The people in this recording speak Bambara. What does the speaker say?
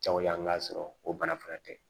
Jago yan ka sɔrɔ o bana furakɛ